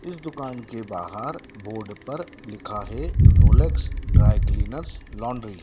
इस दुकान के बाहर बोर्ड पर लिखा है रोलेक्स ड्राई क्लीनर्स लॉन्ड्री ।